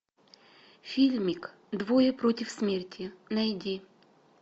фильмик двое против смерти найди